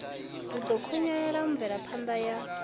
ri ḓo khunyeledza mvelaphanda ya